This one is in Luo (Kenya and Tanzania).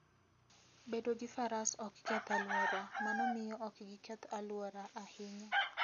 Bedo ni Faras ok keth alwora, mano miyo ok giketh alwora ahinya.